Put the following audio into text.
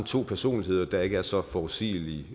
to personligheder der ikke er så forudsigelige